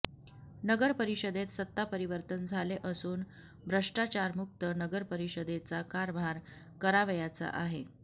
नगरपरिषदेत सत्ता परिवर्तन झाले असून भ्रष्टाचारमुक्त नगरपरिषदेचा कारभार करावयाचा आहे